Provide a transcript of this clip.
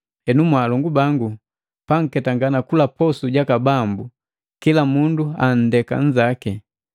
Henu mwaalongu bangu, panketangana kula posu jaka Bambu, kila mundu anndenda nzaki.